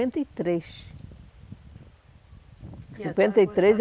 e três, cinquenta e três eu